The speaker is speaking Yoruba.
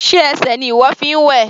Sé ẹsẹ̀ ni ìwọ fi ń wẹ̀?